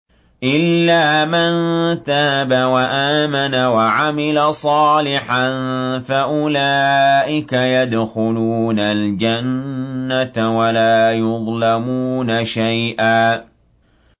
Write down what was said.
إِلَّا مَن تَابَ وَآمَنَ وَعَمِلَ صَالِحًا فَأُولَٰئِكَ يَدْخُلُونَ الْجَنَّةَ وَلَا يُظْلَمُونَ شَيْئًا